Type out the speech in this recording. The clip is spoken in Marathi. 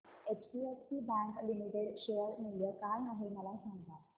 एचडीएफसी बँक लिमिटेड शेअर मूल्य काय आहे मला सांगा